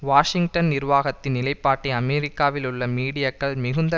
Washington நிர்வாகத்தின் நிலைப்பாட்டை அமெரிக்காவில் உள்ள மீடியாக்கள் மிகுந்த